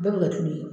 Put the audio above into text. Bɛɛ bɛ kɛ tulu ye